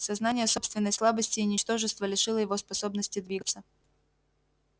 сознание собственной слабости и ничтожества лишило его способности двигаться